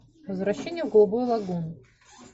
возвращение в голубую лагуну